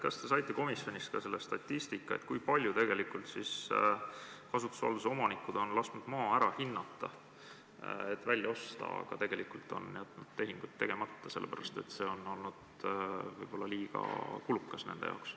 Kas te saite komisjonis teada ka statistika, kui paljud kasutusvalduse lepingu sõlminud on lasknud maa ära hinnata, et see välja osta, aga tegelikult on jätnud tehingu tegemata, sellepärast et see oleks nende jaoks liiga kulukas?